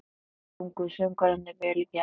Sungu söngvararnir vel í gær?